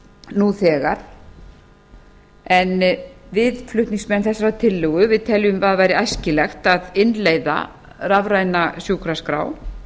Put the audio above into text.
nú þegar en við flutningsmenn teljum að það væri æskilegt að innleiða rafræna sjúkraskrá